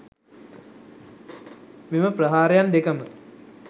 මෙම ප්‍රහාරයන් දෙකම